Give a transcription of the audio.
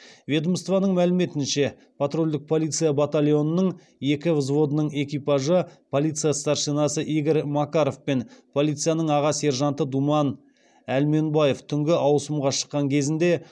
ведомствоның мәліметінше патрульдік полиция батальонының екі взводының экипажы полиция старшинасы игорь макаров пен полицияның аға сержанты думан әлменбаев түнгі ауысымға шыққан кезінде